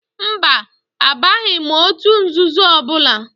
Mba, abaghị m òtù nzuzo ọbụla.